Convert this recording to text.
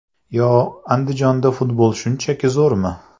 Yo Andijonda futbol shunchalik zo‘rmi?!